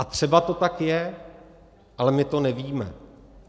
A třeba to tak je, ale my to nevíme.